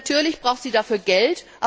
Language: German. Natürlich braucht sie dafür Geld.